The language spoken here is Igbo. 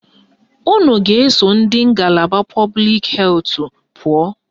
Unu ga-eso ndị ngalaba pọblik hetụ pụọ